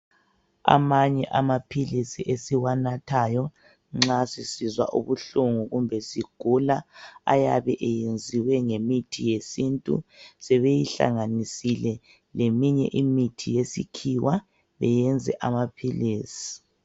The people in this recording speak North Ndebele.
Amanye amaphilisi esiwanathayo nxa sisizwa ubuhlungu kumbe sigula ayabe eyenziwe ngemithi yesintu sebeyihlanganisile leminye imithi yesikhiwa beyenze amaphilisi.